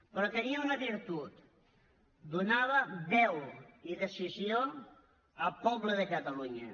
però tenia una virtut donava veu i decisió al poble de catalunya